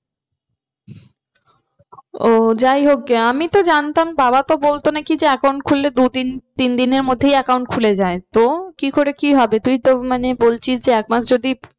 ও যাই হোক গে আমি তো জানতাম বাবা তো বলতো নাকি যে account খুললে দু তিনদিনের মধ্যেই account খুলে যায়। তো কি করে কি হবে তুই তো মানে বলছিস যে মানে এক মাস যদি।